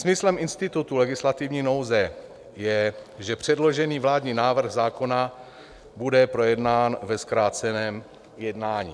Smyslem institutu legislativní nouze je, že předložený vládní návrh zákona bude projednán ve zkráceném jednání.